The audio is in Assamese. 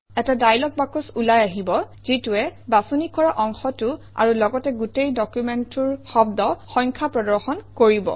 এটা ডায়লগ বাকচ ওলাই আহিব যিটোৱে বাছনি কৰা অংশটো আৰু লগতে গোটেই ডকুমেণ্টটোৰ শব্দ সংখ্যা প্ৰদৰ্শন কৰিব